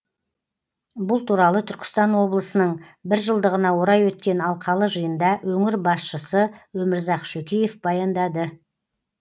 бұл туралы түркістан облысының бір жылдығына орай өткен алқалы жиында өңір басшысы өмірзақ шөкеев баяндады